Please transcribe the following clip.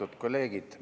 Austatud kolleegid!